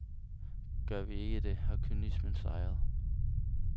Gør vi ikke det, har kynismen sejret.